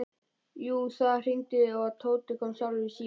Jú, það hringdi og Tóti kom sjálfur í símann.